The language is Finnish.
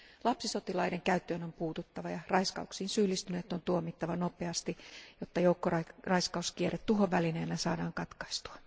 Lapsisotilaiden käyttöön on puututtava ja raiskauksiin syyllistyneet on tuomittava nopeasti, jotta joukkoraiskauskierre tuhon välineenä saadaan katkaistua.